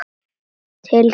Til þín amma.